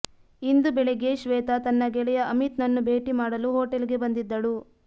ಇಂದು ಬೆಳಗ್ಗೆ ಶ್ವೇತಾ ತನ್ನ ಗೆಳೆಯ ಅಮಿತ್ನನ್ನು ಭೇಟಿ ಮಾಡಲು ಹೋಟೆಲ್ಗೆ ಬಂದಿದ್ದಳು